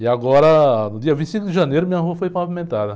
E agora, no dia vinte e cinco de janeiro, minha rua foi pavimentada.